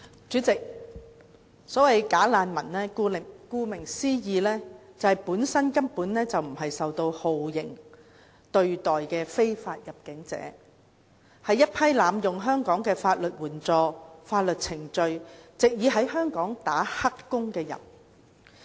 主席，所謂"假難民"，顧名思義，本身根本不是受到酷刑對待的非法入境者，是一批濫用香港的法律援助、法律程序，藉以在香港"打黑工"的人。